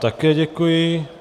Také děkuji.